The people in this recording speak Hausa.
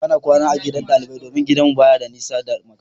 Bana kwana a gidan ɗalibai domin gidanmu baya da nisa da makarantar.